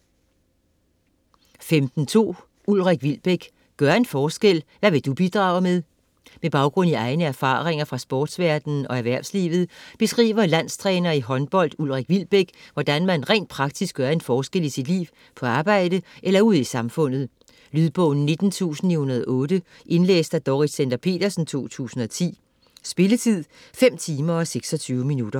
15.2 Wilbek, Ulrik: Gør en forskel: hvad vil du bidrage med? Med baggrund i egne erfaringer fra sportsverdenen og erhvervslivet beskriver landstræner i håndbold, Ulrik Wilbek, hvordan man rent praktisk gør en forskel i sit liv, på arbejde eller ude i samfundet. Lydbog 19908 Indlæst af Dorrit Stender-Petersen, 2010. Spilletid: 5 timer, 26 minutter.